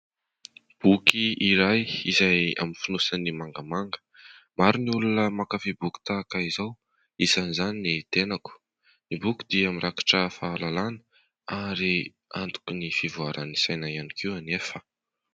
Boky iray izay amin'ny fonosany mangamanga. Maro ny olona mankafy boky tahaka izao, isan'izany ny tenako. Ny boky dia mirakitra fahalalana ary antoky ny fivoaran'ny saina ihany koa anefa.